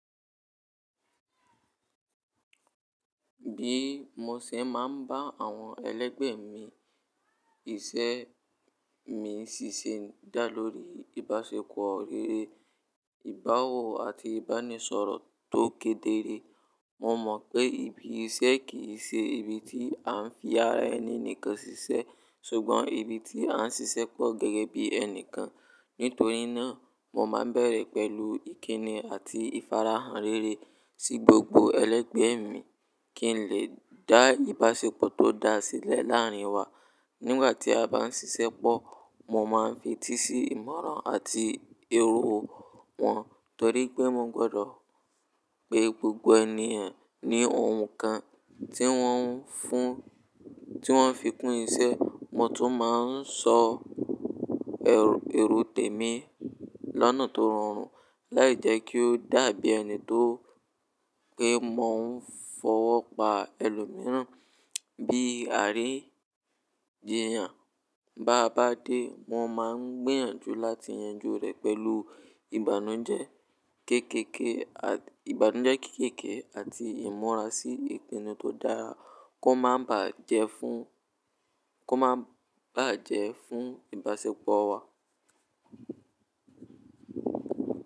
Bí mo ṣe máa ń bá àwọn ẹlẹ́gbẹ̀ mi iṣẹ́ mi ṣíṣe dá lórí ìbáṣepọ̀ rere, ìbáwọ̀ àti ìbánisọ̀rọ̀ tó kedere. Mo mọ̀ pé ibi iṣẹ́ kì í ṣe ibi tí à ń fi ara ẹni nìkan ṣiṣẹ́, ṣùgbọ́n ibi tí à ń ṣiṣẹ́pọ̀ gẹ́gẹ́ bí ẹnìkan. Nítorí náà, mo máa ń bẹ̀rẹ̀ pẹ̀lú ìkíni àti ìfarahàn rere sí gbogbo ẹlẹ́gbẹ̀ mi kí n lè dá ìbáṣepọ̀ tó da sílẹ̀ láàrin wa. Nígbà tí a bá ń ṣiṣẹ́pọ̀, mo máa ń fetí sí ìmọ̀ràn àti èrò wọn, torí pé mo gbọ́dọ̀ pé gbogbo ènìyàn ní ohun kan tí wọ́n fi kún iṣẹ́. Mo tún máa ń sọ èrò tèmi lọ́nà tó rọrùn láì jẹ́ kí ó dàbí ẹni tó pé mo ń fọwọ́ pa ẹlòmíràn. Bí ìrì jiyàn bá bá dé, mo máa ń gbìyànjú láti yanjú rẹ̀ pẹ̀lú ìbànújẹ́ kéékèèké àti ìmúra sí ìpinnu tó dára kó má bà á jẹ́ fún ìbáṣepọ̀ wa.